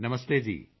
ਨਮਸਤੇ ਜੀ